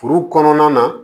Furu kɔnɔna na